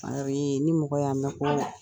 A ni mɔgɔ y'a mɛn ko